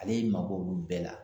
Ale y'i mabɔ nunnu bɛɛ la.